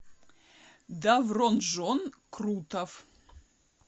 давронжон крутов